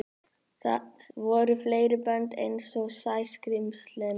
Voru fleiri bönd einsog Sæskrímslin?